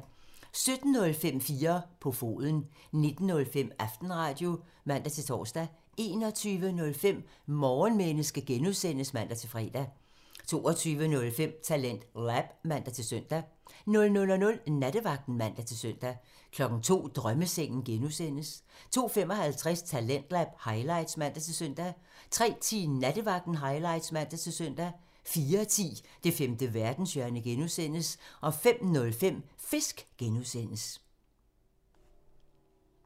17:05: 4 på foden (man) 19:05: Aftenradio (man-tor) 21:05: Morgenmenneske (G) (man-fre) 22:05: TalentLab (man-søn) 00:00: Nattevagten (man-søn) 02:00: Drømmesengen (G) (man) 02:55: Talentlab highlights (man-søn) 03:10: Nattevagten highlights (man-søn) 04:10: Det femte verdenshjørne (G) (man) 05:05: Fisk (G) (man)